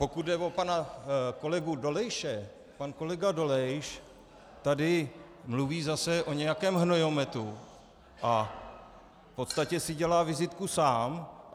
Pokud jde o pana kolegu Dolejše, pan kolega Dolejš tady mluví zase o nějakém hnojometu a v podstatě si dělá vizitku sám.